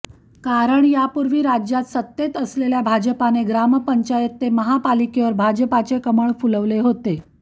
कारण यापूर्वी राज्यात सत्तेत असलेल्या भाजपने ग्रामपंचायत ते महापालिकेवर भाजपचे कमळ फुलवले होते